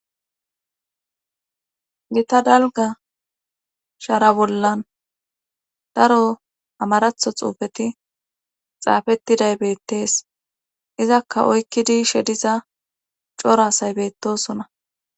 gita dalga shara bollan daro amaratho xuufeti xaafettiday beettees izakka oykkidi shediza coraasay beettosona